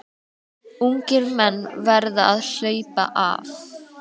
Ungir menn verða að HLAUPA AF